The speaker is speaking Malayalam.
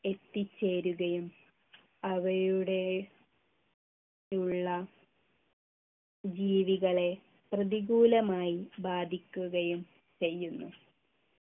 എത്തിച്ചേരുകയും അവയുടെ ഉള്ള ജീവികളെ പ്രതികൂലമായി ബാധിക്കുകയും ചെയ്യുന്നു